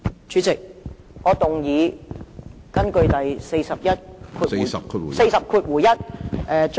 主席，我根據《議事規則》第 41......